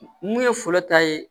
Mun ye fɔlɔ ta ye